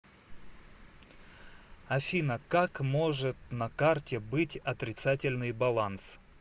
афина как может на карте быть отрицательный баланс